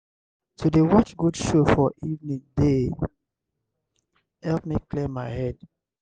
to dey watch good show for evening dey help me clear my head.